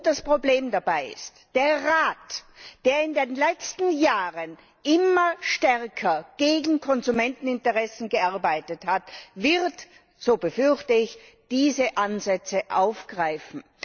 Und das Problem dabei ist Der Rat, der in den letzten Jahren immer stärker gegen Konsumenteninteressen gearbeitet hat, wird so befürchte ich diese Ansätze aufgreifen.